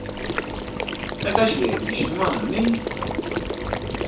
eka xiyenge xin wana ni